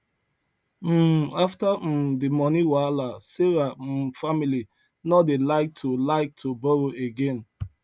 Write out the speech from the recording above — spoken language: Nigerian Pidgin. um after um the money wahala sarah um family no dey like to like to borrow again